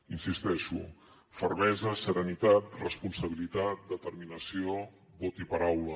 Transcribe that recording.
hi insisteixo fermesa serenitat responsabilitat determinació vot i paraula